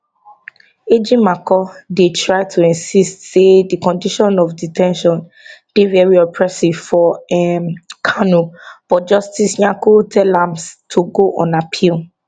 ejimakor dey try to insist say di condition of de ten tion dey very oppressive for um kanu but justice nyako tell am to go on appeal